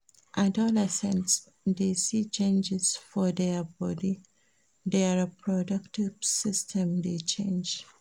Adolescents de see changes for their body their reproductive system de change